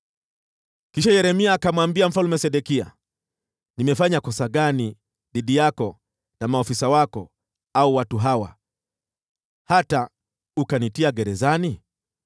Kisha Yeremia akamwambia Mfalme Sedekia, “Nimefanya kosa gani dhidi yako na maafisa wako au watu hawa, hata ukanitia gerezani?